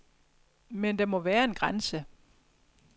Men der må være en grænse.